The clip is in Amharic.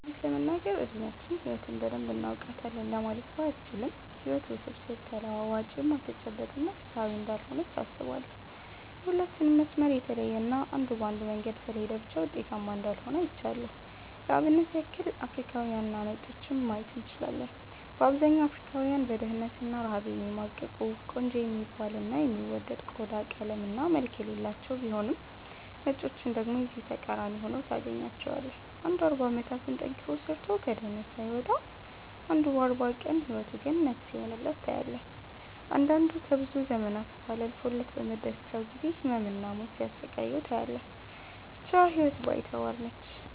እውነት ለመናገር እድሚያችን ህይወትን በደንብ እናውቃታለን ለማለት ባያስችልም ህይወት ውስብስብ፣ ተለዋዋጭ፣ የማትጨበጥ እና ፍትሃዊ እንዳልሆነች አስባለው። የሁላችንም መስመር የተለየ እና አንዱ በአንዱ መንገድ ስለሄደ ብቻ ውጤታማ እንዳልሆነ አይቻለው። ለአብነት ያክል አፍሪካውያንንና ነጮችን ማየት እንችላለን። በአብዛኛው አፍሪካውያን በድህነት እና ረሃብ የሚማቅቁ፤ ቆንጆ የሚባል እና የሚወደድ ቆዳ ቀለም እና መልክ የሌላቸው ቢሆኑም ነጮችን ደግሞ የዚህ ተቃራኒ ሁነው ታገኛቸዋለህ። አንዱ 40 አመታትን ጠንክሮ ሰርቶ ከድህነት ሳይወጣ አንዱ በ 40 ቀን ህይወቱ ገነት ሲሆንለት ታያለህ። አንዳንዱ ከብዙ ዘመናት ቡሃላ አልፎለት በመደሰቻው ጊዜ ህመም እና ሞት ሲያሰቃየው ታያለህ። ብቻ ህይወት ባይተዋር ነች።